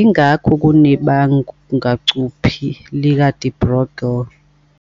ingakho kunebangacuphi lika-de Broglie kumpekumpeku ngayinye.